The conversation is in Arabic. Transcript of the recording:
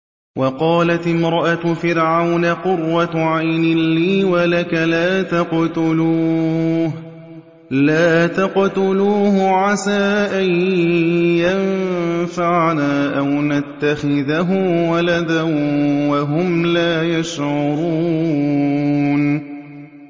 وَقَالَتِ امْرَأَتُ فِرْعَوْنَ قُرَّتُ عَيْنٍ لِّي وَلَكَ ۖ لَا تَقْتُلُوهُ عَسَىٰ أَن يَنفَعَنَا أَوْ نَتَّخِذَهُ وَلَدًا وَهُمْ لَا يَشْعُرُونَ